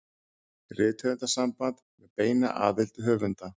Rithöfundasamband með beinni aðild höfunda.